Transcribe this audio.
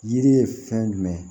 Yiri ye fɛn jumɛn ye